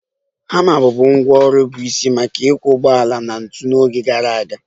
Hama bụbu ngwá ọrụ bụ isi maka ịkwọ ụgbọala na ntu n'oge gara aga